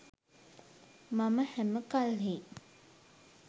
මම හැම කල්හි